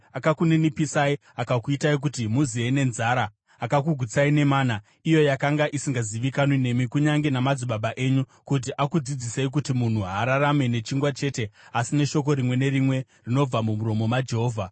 Akakuninipisai, akakuitai kuti muziye nenzara akakugutsai nemana, iyo yakanga isingazivikanwi nemi kunyange namadzibaba enyu, kuti akudzidzisei kuti munhu haararame nechingwa chete asi neshoko rimwe nerimwe rinobva mumuromo maJehovha.